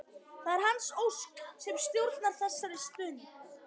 Það er hans ósk sem stjórnar þessari stund.